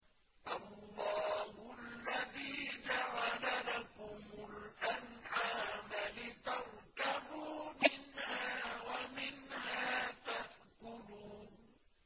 اللَّهُ الَّذِي جَعَلَ لَكُمُ الْأَنْعَامَ لِتَرْكَبُوا مِنْهَا وَمِنْهَا تَأْكُلُونَ